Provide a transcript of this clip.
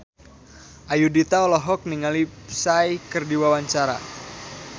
Ayudhita olohok ningali Psy keur diwawancara